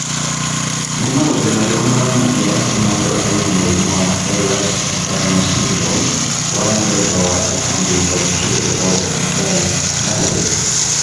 Nĩ maũndũ marĩkũ monanagia atĩ mũndũ arĩ na mũrimũ wa Ehlers-Danlos syndrome, wa mũthemba wa spondylocheirodysplastic?